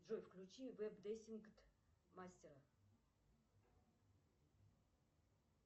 джой включи веб десинг мастера